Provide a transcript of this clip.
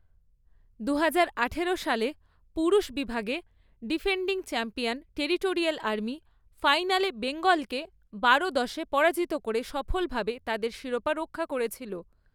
দুহাজার আঠারো সালে, পুরুষ বিভাগে, ডিফেন্ডিং চ্যাম্পিয়ন টেরিটোরিয়াল আর্মি ফাইনালে বেঙ্গলকে বারো দশে পরাজিত করে সফলভাবে তাদের শিরোপা রক্ষা করেছিল।